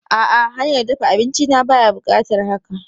A'a, hanyar dafa abinci na baya buƙatar haka.